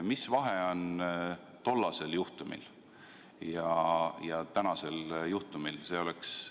Mis vahe on tollasel juhtumil ja tänasel juhtumil?